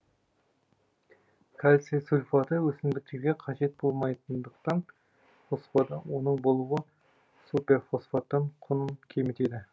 кальций сульфаты өсімдіктерге қажет болмайтындықтан қоспада оның болуы суперфосфаттың құнын кемітеді